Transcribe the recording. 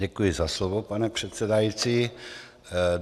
Děkuji za slovo, pane předsedající.